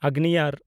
ᱟᱜᱽᱱᱤᱭᱟᱨ